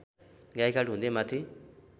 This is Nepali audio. गाईघाट हुँदै माथि